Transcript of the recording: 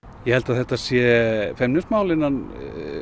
ég held að þetta sé feimnismál innan